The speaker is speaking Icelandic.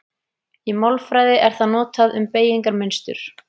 Í málfræði er það notað um beygingarmynstur.